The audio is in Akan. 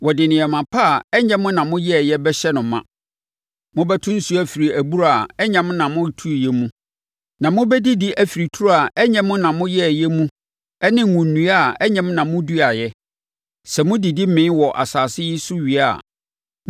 Wɔde nneɛma pa a ɛnyɛ mo na moyɛeɛ bɛhyɛ no ma. Mobɛto nsuo afiri abura a ɛnyɛ mo na motuiɛ mu, na mobɛdidi afiri turo a ɛnyɛ mo na moyɛeɛ mu ne ngo nnua a ɛnyɛ mo na moduaeɛ. Sɛ modidi mee wɔ saa asase yi so wie a,